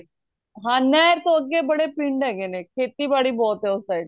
ਹਾਂ ਨਹਿਰ ਤੋਂ ਅੱਗੇ ਬੜੇ ਪਿੰਡ ਹੈਗੇ ਨੇ ਖੇਤੀ ਬਾੜੀ ਬਹੁਤ ਹੈ ਉਹ side